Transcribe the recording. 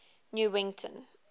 newington